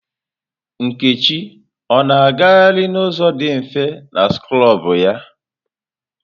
Nkechi ọ na-agaharị n'ụzọ dị mfe na skrọbụ ya?